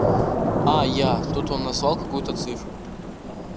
а я тут он назвал какую-то цифру